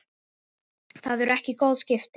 Það eru ekki góð skipti.